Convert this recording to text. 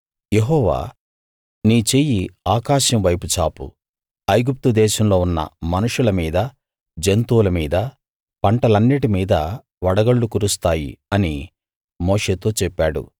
యెహోవా నీ చెయ్యి ఆకాశం వైపు చాపు ఐగుప్తు దేశంలో ఉన్న మనుషుల మీదా జంతువుల మీదా పంటలన్నిటి మీదా వడగళ్లు కురుస్తాయి అని మోషేతో చెప్పాడు